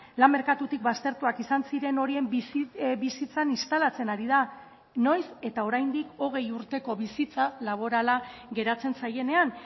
lan merkatutik baztertuak izan ziren horien bizitzan instalatzen ari da noiz eta oraindik hogei urteko bizitza laborala geratzen zaienean